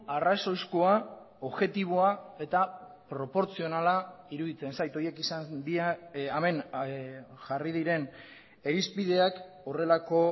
arrazoizkoa objektiboa eta proportzionala iruditzen zait horiek izan dira hemen jarri diren irizpideak horrelako